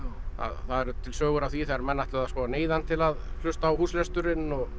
það eru til sögur af því þegar menn ætluðu að neyða hann til að hlusta á húslesturinn og